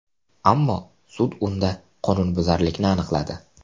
Ammo sud unda qonunbuzarlikni aniqladi.